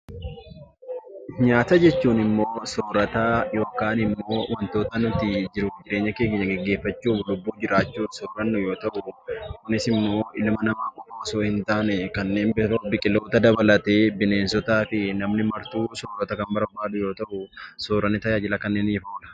Nyaata jechuun nyaata yookiin soorata wantoota nuti jiruu fi jireenya keenya gaggeeffachuu lubbuun jiraachuuf barbaannu yoo ta'u, kunis immoo ilma namaa qofa osoo hin taane kanneen biroo biqiloota dabalatee bineensotaa fi namni martuu soorata kan barbaadu yoo ta'u, sooratni tajaajila kanneeniif oola.